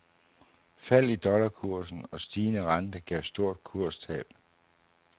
Fald i dollarkursen og stigende rente gav stort kurstab.